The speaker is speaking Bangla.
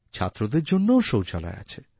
ছাত্রদের জন্যও শৌচালয় আছে